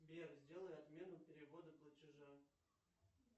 сбер сделай отмену перевода платежа